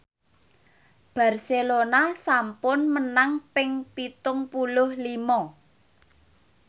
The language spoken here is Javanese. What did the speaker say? Barcelona sampun menang ping pitung puluh lima